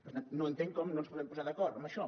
per tant no entenc com no ens podem posar d’acord en això